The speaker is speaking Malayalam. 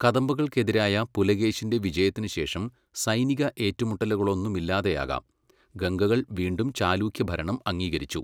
കദംബകൾക്കെതിരായ പുലകേശിൻ്റെ വിജയത്തിനുശേഷം, സൈനിക ഏറ്റുമുട്ടലുകളൊന്നുമില്ലാതെയാകാം, ഗംഗകൾ വീണ്ടും ചാലൂക്യഭരണം അംഗീകരിച്ചു.